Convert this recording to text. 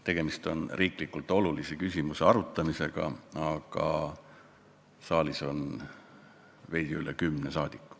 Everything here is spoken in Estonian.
Tegemist on riiklikult olulise küsimuse arutamisega, aga saalis on veidi üle kümne saadiku.